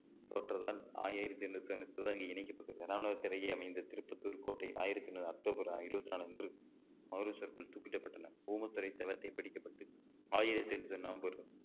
தோற்றதால் ஆயிரத்தி எண்ணூத்தி இணைக்கப்பட்டு அருகே அமைந்த திருப்பத்தூர் கோட்டையில் ஆயிரத்தி ஐநூறு அக்டோபர் இருவத்தி நாளன்று மதுரை circle துப்பிடப்பட்டன ஓமத்துரை செவத்தை பிடிக்கப்பட்டு ஆயிரத்தி எண்ணூற்றி நவம்பர்